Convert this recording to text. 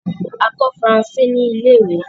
A kọ Faransé ni ilẹ̀-ìwé